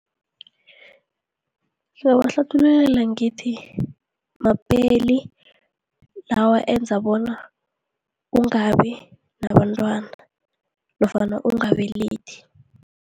Ngizabahlathululela ngithi, mapeli lawa enza bona ungabinabantwana nofana ungabelethi.